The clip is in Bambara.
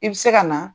I bɛ se ka na